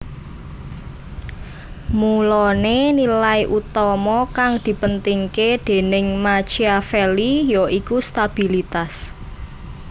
Mulané nilai utama kang dipentingké déning Machiavelli yaiku stabilitas